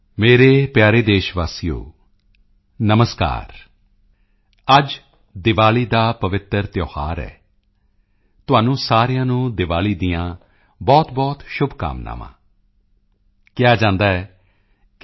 ਮੇਰੇ ਪਿਆਰੇ ਦੇਸ਼ਵਾਸੀਓ ਨਮਸਕਾਰ ਅੱਜ ਦੀਵਾਲੀ ਦਾ ਪਵਿੱਤਰ ਤਿਓਹਾਰ ਹੈ ਤੁਹਾਨੂੰ ਸਾਰਿਆਂ ਨੂੰ ਦੀਵਾਲੀ ਦੀਆਂ ਬਹੁਤਬਹੁਤ ਸ਼ੁਭਕਾਮਨਾਵਾਂ ਕਿਹਾ ਜਾਂਦਾ ਹੈ ਕਿ